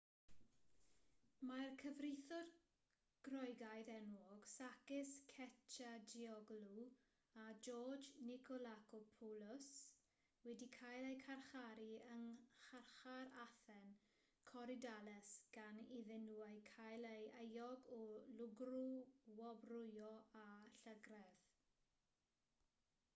mae'r cyfreithwyr groegaidd enwog sakis kechagioglou a george nikolakopoulos wedi cael eu carcharu yng ngharchar athen korydallus gan iddyn nhw eu cael yn euog o lwgrwobrwyo a llygredd